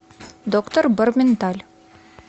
доктор борменталь